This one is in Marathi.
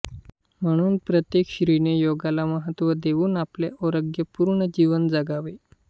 म्हणून प्रत्येक स्त्रीने योगाला महत्व देऊन आपले आरोग्यपूर्ण जीवन जगावे